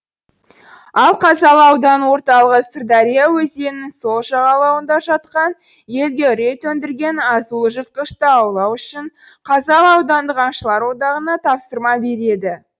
ал қазалы ауданының орталығы сырдария өзенінің сол жағалауында жатқан елге үрей төндірген азулы жыртқышты аулау үшін қазалы аудандық аңшылар одағына тапсырма береді